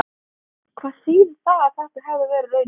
Hvað þýðir það ef þetta hefði verið raunin?